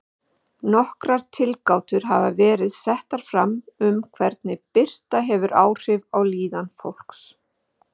Nokkrar tilgátur hafa verið settar fram um hvernig birta hefur áhrif á líðan fólks.